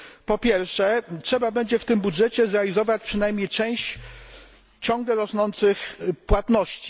Po pierwsze, trzeba będzie w tym budżecie zrealizować przynajmniej część ciągle rosnących płatności.